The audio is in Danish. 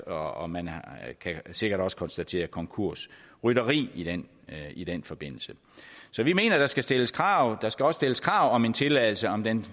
og man kan sikkert også konstatere konkursrytteri i den i den forbindelse så vi mener at der skal stilles krav der skal også stilles krav om en tilladelse om den